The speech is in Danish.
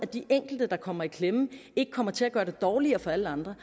de enkelte der kommer i klemme komme til at gøre det dårligere for alle andre